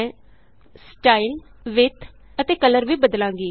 ਮੈਂ style width ਅਤੇ colour ਵੀ ਬਦਲਾਂਗੀ